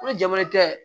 Ko jama tɛ